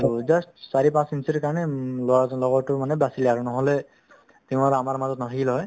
so, just চাৰি পাঁচ ইঞ্চিৰ কাৰণে উম ল'ৰাজন লগৰটোৰ মানে বাচিলে আৰু নহ'লে সি আৰু আমাৰ মাজত নাথাকিল হৈ